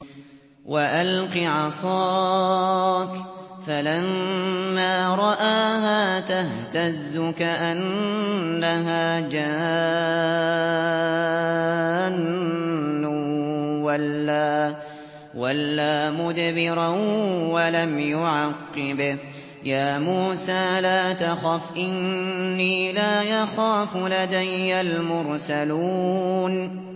وَأَلْقِ عَصَاكَ ۚ فَلَمَّا رَآهَا تَهْتَزُّ كَأَنَّهَا جَانٌّ وَلَّىٰ مُدْبِرًا وَلَمْ يُعَقِّبْ ۚ يَا مُوسَىٰ لَا تَخَفْ إِنِّي لَا يَخَافُ لَدَيَّ الْمُرْسَلُونَ